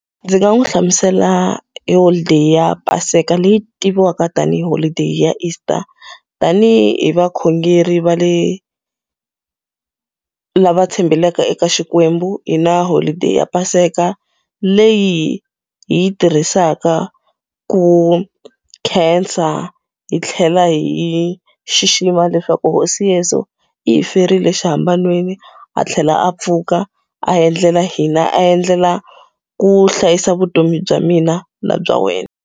Ndzi nga n'wi hlamusela hi holideyi ya Paseka leyi tiviwaka tanihi holiday ya Easter. Tanihi vakhongeri va le lava tshembelaka eka Xikwembu, hi na holiday ya paseka. Leyi hi yi tirhisaka ku khensa hi tlhela hi xixima leswaku hosi Yeso i hi ferile xihambanweni, a tlhela a pfuka a endlela hina a endlela ku hlayisa vutomi bya mina na bya wena.